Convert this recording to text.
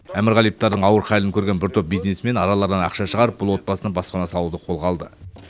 әмірғалиевтардың ауыр халін көрген бір топ бизнесмен араларынан ақша шығарып бұл отбасына баспана салуды қолға алды